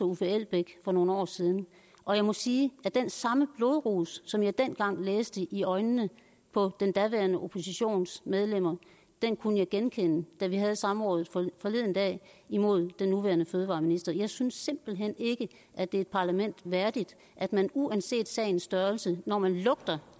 uffe elbæk for nogle år siden og jeg må sige at den samme blodrus som jeg dengang læste i øjnene på den daværende oppositions medlemmer kunne jeg genkende da vi havde samrådet forleden dag imod den nuværende fødevareminister jeg synes simpelt hen ikke at det er et parlament værdigt at man uanset sagens størrelse når man lugter